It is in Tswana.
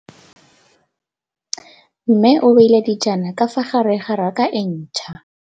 Mmê o beile dijana ka fa gare ga raka e ntšha.